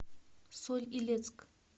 соль илецк